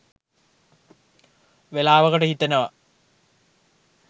වෙලාවකට හිතෙනවා